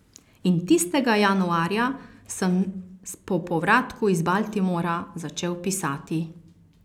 In tistega januarja sem po povratku iz Baltimora začel pisati.